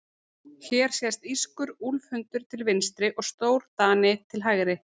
Hér sést írskur úlfhundur til vinstri og stórdani til hægri.